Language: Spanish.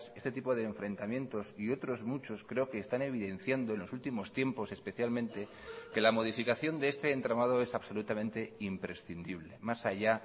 este tipo de enfrentamientos y otros muchos creo que están evidenciando en los últimos tiempos especialmente que la modificación de este entramado es absolutamente imprescindible más allá